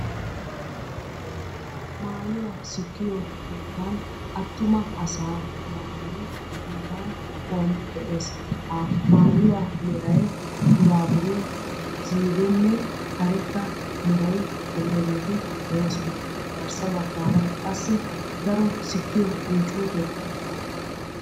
Maayuwaa sikkiyo keettan attuma asaa maayoy bollan kaquwan de'ees. Ha maayuwaa neray buraabure siinenne karetta meray de'iyoogeeti de'oosona. Garssa baggaara qassi daro sikkiyo qunccuuteekka de'ees.